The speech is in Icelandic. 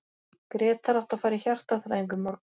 Grétar átti að fara í hjartaþræðingu í morgun.